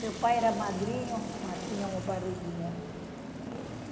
Meu pai era magrinho, mas tinha uma barriguinha.